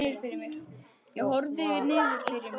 Ég horfi niður fyrir mig.